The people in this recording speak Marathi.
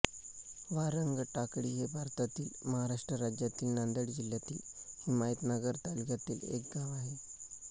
वारंगटाकळी हे भारताच्या महाराष्ट्र राज्यातील नांदेड जिल्ह्यातील हिमायतनगर तालुक्यातील एक गाव आहे